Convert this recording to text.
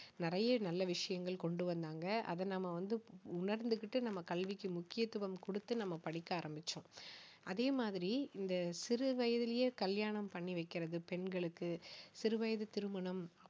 நிறைய நல்ல விஷயங்கள் கொண்டு வந்தாங்க அதை நம்ம வந்து உணர்ந்துகிட்டு நம்ம கல்விக்கு முக்கியத்துவம் கொடுத்து நம்ம படிக்க ஆரம்பிச்சோம் அதே மாதிரி இந்த சிறு வயதிலேயே கல்யாணம் பண்ணி வைக்கிறது பெண்களுக்கு சிறு வயது திருமணம்